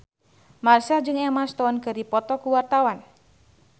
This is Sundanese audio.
Marchell jeung Emma Stone keur dipoto ku wartawan